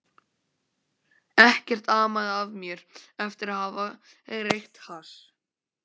Ekkert amaði að mér eftir að hafa reykt hass.